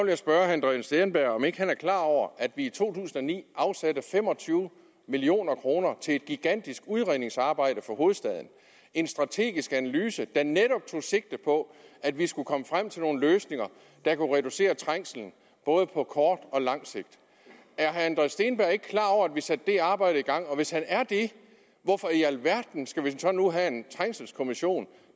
jeg spørge herre andreas steenberg om ikke han er klar over at vi i to tusind og ni afsatte fem og tyve million kroner til et gigantisk udredningsarbejde for hovedstaden en strategisk analyse der netop tog sigte på at vi skulle komme frem til nogle løsninger der kunne reducere trængslen både på kort og langt sigt er herre andreas steenberg ikke klar over at vi satte det arbejde i gang og hvis han er det hvorfor i alverden skal vi nu have en trængselskommission